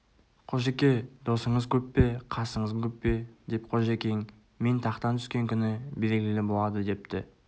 қожеке досыңыз көп пе қасыңыз көп пе деп қожекең мен тақтан түскен күні белгілі болады депті